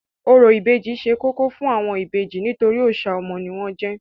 Orò ìbejì ṣe kókó fún àwọn ìbejì nítorí òòṣà ọmọ ni wọ́n jẹ́.